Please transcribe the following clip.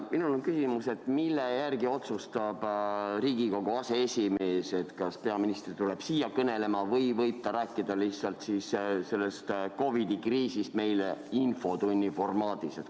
Minul on küsimus: mille järgi otsustab Riigikogu aseesimees, kas peaminister tuleb siia kõnelema või võib ta rääkida COVID-i kriisist meile lihtsalt infotunni formaadis?